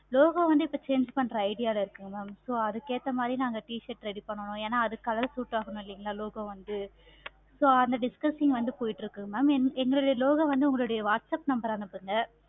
logo வந்து இப்போ change பண்ற idea ல இருக்கோ mam so அதுக்கு ஏத்தா மாதிரி நாங்க t-shirt ready பண்ணனும். ஏன அதுக்கு color suit ஆகணும் இல்லைங்களா logo வந்து so அந்த discussion வந்து போய்கிட்டு இருக்கு mam எங்களுடைய logo வந்து உங்களுடைய whatsapp number அனுப்புங்க.